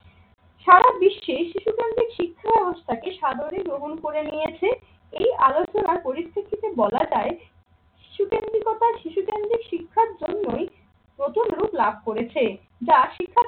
সারা বিশ্বে শিশুকেন্দ্রিক শিক্ষা ব্যবস্থাকে সাদরে গ্রহণ করে নিয়েছে। এই আলোচনার পরিপ্রেক্ষিতে বলা যায় সিশুকেন্দ্রিকতা শিশুকেন্দ্রিক শিক্ষার জন্যই প্রথম রূপ লাভ করেছে যা শিক্ষা